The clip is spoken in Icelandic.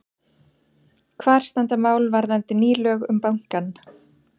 Hvar standa mál varðandi ný lög um bankann?